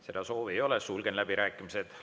Seda soovi ei ole, sulgen läbirääkimised.